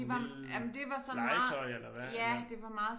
En lille legetøj eller hvad eller